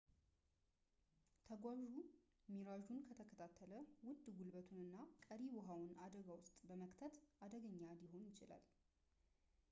ተጓዡው ሚራዡን ከተከታተለ ውድ ጉልበቱን እና ቀሪ ውሃውን አደጋ ውስጥ በመክተት አደገኛ ሊሆን ይችላል